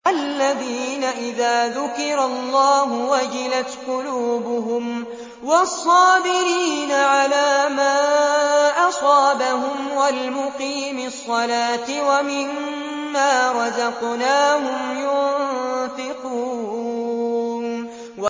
الَّذِينَ إِذَا ذُكِرَ اللَّهُ وَجِلَتْ قُلُوبُهُمْ وَالصَّابِرِينَ عَلَىٰ مَا أَصَابَهُمْ وَالْمُقِيمِي الصَّلَاةِ وَمِمَّا رَزَقْنَاهُمْ يُنفِقُونَ